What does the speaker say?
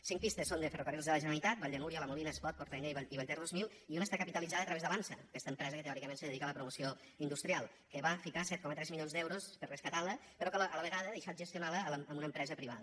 cinc pistes són de ferrocarrils de la generalitat vall de núria la molina espot port ainé i vallter dos mil i una està capitalitzada a través d’avançsa aquesta empresa que teòricament se dedica a la promoció industrial que va ficar set coma tres milions d’euros per rescatar la però que a la vegada ha deixat gestionar la a una empresa privada